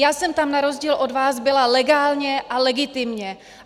Já jsem tam na rozdíl od vás byla legálně a legitimně.